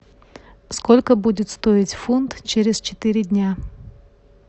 сколько будет стоить фунт через четыре дня